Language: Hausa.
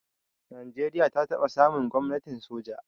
Najeriya ta taba samun gwamnatin soja.